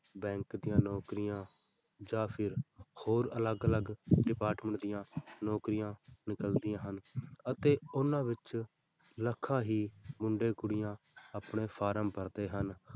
Bank ਦੀਆਂ ਨੌਕਰੀਆਂ ਜਾਂ ਫਿਰ ਹੋਰ ਅਲੱਗ ਅਲੱਗ department ਦੀਆਂ ਨੌਕਰੀਆਂ ਨਿਕਲਦੀਆਂ ਹਨ ਅਤੇ ਉਹਨਾਂ ਵਿੱਚ ਲੱਖਾਂ ਹੀ ਮੁੰਡੇ ਕੁੜੀਆਂ ਆਪਣੇ form ਭਰਦੇ ਹਨ।